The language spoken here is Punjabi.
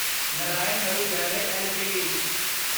ਨਰਾਇਣ ਹਰੁਦਯਾਲਯ ਐੱਲਟੀਡੀ